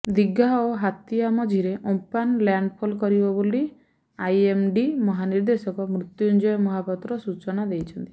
ଦିଘା ଏବଂ ହାତିଆ ମଝିରେ Amphan landfall କରିବ ବୋଲି ଆଇଏମ୍ଡି ମହାନିର୍ଦେଶକ ମୃତ୍ୟୁଜଞ୍ଜୟ ମହାପାତ୍ର ସୂଚନା ଦେଇଛନ୍ତି